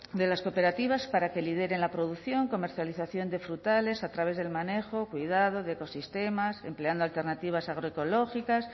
de las cooperativas para que lideren la producción comercialización de frutales a través del manejo cuidado de ecosistemas empleando alternativas agroecológicas